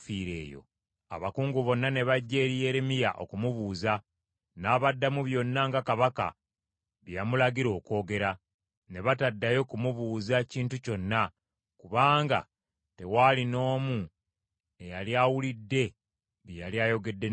Abakungu bonna ne bajja eri Yeremiya okumubuuza, n’abaddamu byonna nga kabaka bye yamulagira okwogera. Ne bataddayo ku mubuuza kintu kyonna, kubanga tewaali n’omu eyali awulidde bye yali ayogedde ne kabaka.